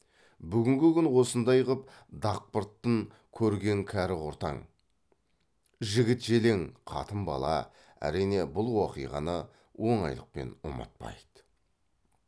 бүгінгі күн осындай ғып дақпыртын көрген кәрі құртаң жігіт желең қатын бала әрине бұл уақиғаны оңайлықпен ұмытпайды